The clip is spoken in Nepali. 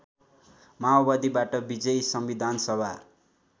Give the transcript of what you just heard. माओवादीबाट विजयी संविधानसभा